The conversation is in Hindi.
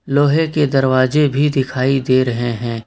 लोहे के दरवाजे भी दिखाई दे रहे हैं।